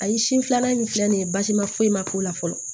Ayi sin filanan min filɛ nin ye basi ma foyi ma k'o la fɔlɔ